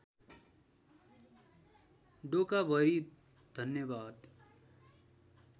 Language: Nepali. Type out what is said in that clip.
डोकाभरि धन्यवाद